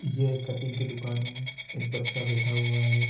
ये कटिंग की दुकान है एक बच्चा बैठा हुआ है।